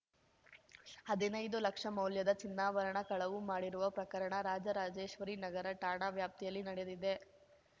ಹದಿನೈದು ಲಕ್ಷ ಮೌಲ್ಯದ ಚಿನ್ನಾಭರಣ ಕಳವು ಮಾಡಿರುವ ಪ್ರಕರಣ ರಾಜರಾಜೇಶ್ವರಿ ನಗರ ಠಾಣಾ ವ್ಯಾಪ್ತಿಯಲ್ಲಿ ನಡೆದಿದೆ